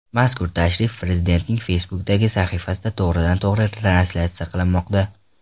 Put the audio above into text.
Mazkur tashrif Prezidentning Facebook’dagi sahifasida to‘g‘ridan to‘g‘ri translyatsiya qilinmoqda .